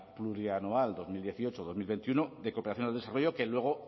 plurianual dos mil dieciocho dos mil veintiuno de cooperación al desarrollo que luego